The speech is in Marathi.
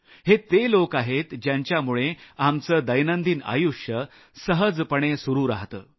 हे ते लोक आहेत ज्यांच्यामुळे आमचं दैनंदिन आयुष्य सहजपणे सुरू राहतं